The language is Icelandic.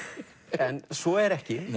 en svo er ekki